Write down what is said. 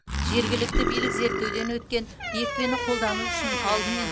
жергілікті билік зерттеуден өткен екпені қолдану үшін алдымен